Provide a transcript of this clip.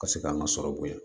Ka se k'an ka sɔrɔ bonya